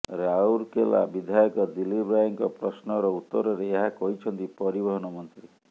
ରାଉରକେଲା ବିଧାୟକ ଦିଲ୍ଲୀପ ରାୟଙ୍କ ପ୍ରଶ୍ନର ଉତ୍ତରରେ ଏହା କହିଛନ୍ତି ପରିବହନ ମନ୍ତ୍ରୀ